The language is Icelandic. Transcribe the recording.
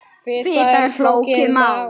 Fita er flókið mál.